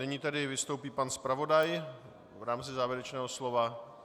Nyní tedy vystoupí pan zpravodaj v rámci závěrečného slova.